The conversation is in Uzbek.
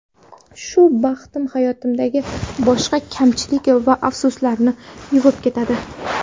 Shu baxtim hayotimdagi boshqa kamchilik va afsuslarni yuvib ketadi.